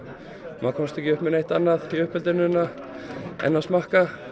maður komst ekki upp með neitt annað í uppeldinu en að smakka